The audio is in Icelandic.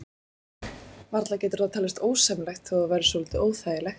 Varla getur það talist ósæmilegt, þó það væri svolítið óþægilegt.